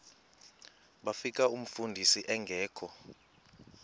bafika umfundisi engekho